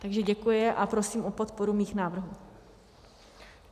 Takže děkuji a prosím o podporu svých návrhů.